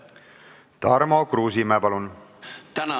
Tarmo Kruusimäe, palun!